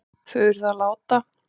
Þau urðu að láta